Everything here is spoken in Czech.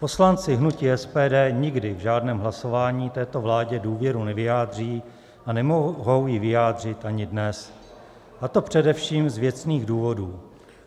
Poslanci hnutí SPD nikdy v žádném hlasování této vládě důvěru nevyjádří a nemohou ji vyjádřit ani dnes, a to především z věcných důvodů.